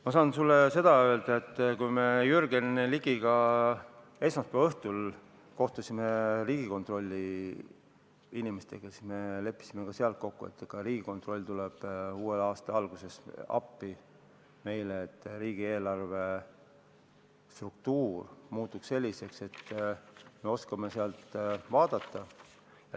Ma saan sulle öelda, et kui me Jürgen Ligiga esmaspäeva õhtul kohtusime Riigikontrolli inimestega, siis me leppisime ka seal kokku, et Riigikontroll tuleb uue aasta alguses meile appi, et riigieelarve struktuur muutuks selliseks, et me oskaksime sealt andmeid vaadata.